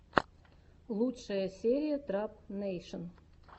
лучшая серия трап нэйшн